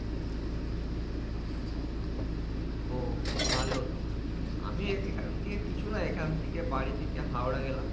ও ভালো তো আমিও এখান থেকে কিছু না এখান থেকে বাড়ি থেকে হাওড়া গেলাম